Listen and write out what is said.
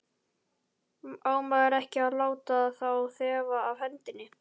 Á maður ekki að láta þá þefa af hendinni?